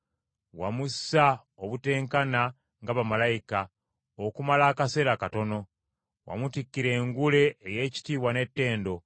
Wamussa obuteenkana nga bamalayika, okumala akaseera katono, wamutikkira engule ey’ekitiibwa n’ettendo,